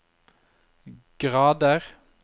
grader